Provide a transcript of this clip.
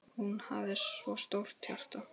Hún hafði svo stórt hjarta.